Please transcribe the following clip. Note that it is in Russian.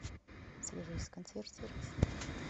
свяжись с консьерж сервисом